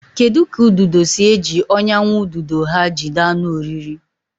Kedu ka ududo si eji ọnyà nwa ududo ha jide anụ oriri?